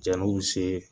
Jɛn'u se